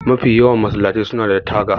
Mafi yawan masallatai suna da taga